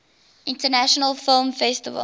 international film festival